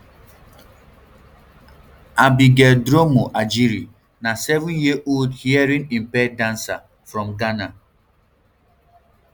abigail dromo adjiri na seven yearold hearingimpaired dancer from ghana